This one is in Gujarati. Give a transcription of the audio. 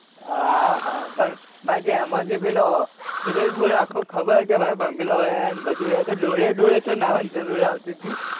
હા ભાઈ એમો જે પેલો ખબર હતી કે આખો બંગલો હે અને બધું હે તો ડોયે ડોયે ચૌ નાવા ની જરૂર આવતી તી